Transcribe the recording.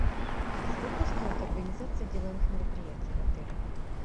сколько стоит организация деловых мероприятий в отеле